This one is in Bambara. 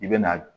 I bɛ na